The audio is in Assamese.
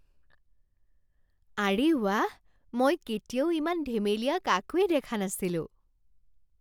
আৰে ৱাহ! মই কেতিয়াও ইমান ধেমেলীয়া কাকোৱেই দেখা নাছিলো!